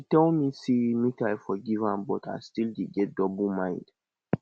she tell me say make i forgive am but i still dey get double mind